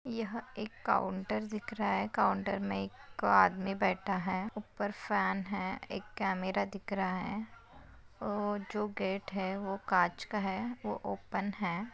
यह एक काउंटर दिख रहा है काउंटर में एक आदमी बैठा है ऊपर फैन है एक कैमरा दिख रहा है अ जो गेट है वो काच का है वो ओपन है।